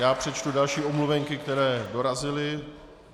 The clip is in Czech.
Já přečtu další omluvenky, které dorazily.